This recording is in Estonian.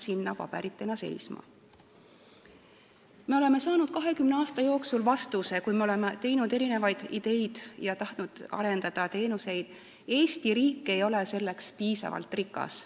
Kui me oleme esitanud erinevaid ideid ja tahtnud arendada teenuseid, siis oleme saanud 20 aasta jooksul vastuseks, et Eesti riik ei ole selleks piisavalt rikas.